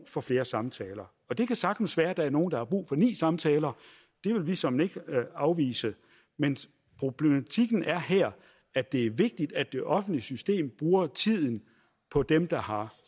for flere samtaler og det kan sagtens være at der er nogle der har brug for ni samtaler det vil vi såmænd ikke afvise men problematikken er her at det er vigtigt at det offentlige system bruger tiden på dem der har